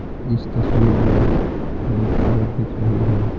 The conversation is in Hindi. इस तस्वीर में एक औरत दिख रही है।